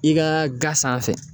I ka ga sanfɛ.